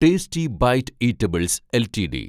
tasty bite eatables LTD